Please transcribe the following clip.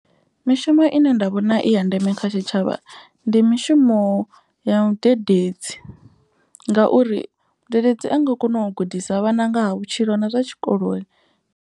Mishumo ine nda vhona i ya ndeme kha tshitshavha ndi mishumo ya vhudededzi. Ngauri mudededzi a nga kona u gudisa vhana nga ha vhutshilo na zwa tshikoloni.